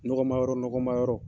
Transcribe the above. Nɔgɔma yɔrɔ nɔgɔma yɔrɔ